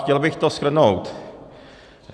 Chtěl bych to shrnout.